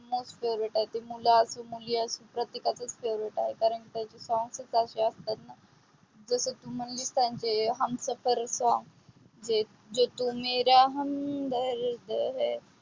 most favorite आहे. ते मुलं असो मुली असो प्रत्येकाचे song त्याचे ते असतात. जे तू म्हणलीस न हमसफर songs ते तू मेरा हमदर्द है.